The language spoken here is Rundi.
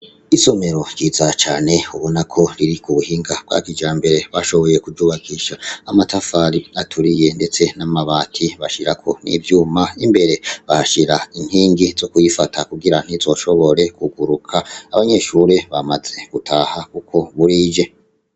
Isomero ryiza cane ubonako riri ku buhinga bwa kijambere. Bashoboye kuryubakisha amatafari aturiye ndetse n'amabati, bashirako n'ivyuma. Imbere bahashira inkingi zo kuyifata kugira ntizoshobore kuguruka. Abanyeshuri bamaze gutaha kuko burije.